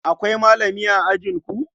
Akwai malami a ajinku?